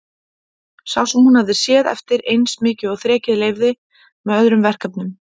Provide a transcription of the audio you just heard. Sá sem hún hafði séð eftir eins mikið og þrekið leyfði, með öðrum verkefnum.